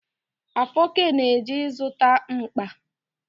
Afoke na-eje ịzụta mkpa.